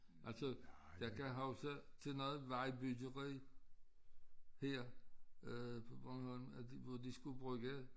Altså jeg kan huske til noget vejbyggeri her øh på Bornholm at hvor de skulle bruge